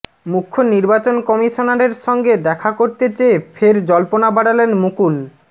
মুখ্য নির্বাচন কমিশনারের সঙ্গে দেখা করতে চেয়ে ফের জল্পনা বাড়ালেন মুকুল